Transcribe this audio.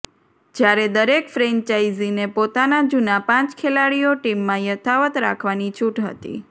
જ્યારે દરેક ફ્રેન્ચાઈઝીને પોતાના જૂના પાંચ ખેલાડીઓ ટીમમાં યથાવત્ રાખવાની છૂટ હતી